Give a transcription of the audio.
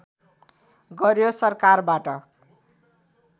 गर्‍यो सरकारबाट